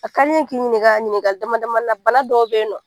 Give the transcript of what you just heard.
A ka di n ye k'i ɲininka ɲininkali damadamani na bana dɔw bɛ yen nɔ